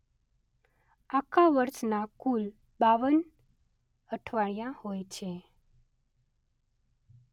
આખા વર્ષના કુલ બાવન અઠવાડિયાં હોય છે.